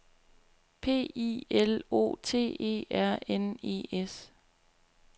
P I L O T E R N E S